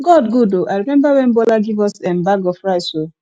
god good oo i remember wen bola give us um bag of rice um